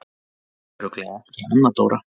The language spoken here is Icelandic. Örugglega ekki Anna Dóra?